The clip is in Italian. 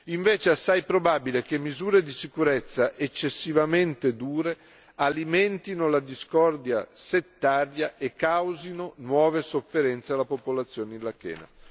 Invece, è assai probabile che misure di sicurezza eccessivamente dure alimentino la discordia settaria e causino nuove sofferenze alla popolazione irachena.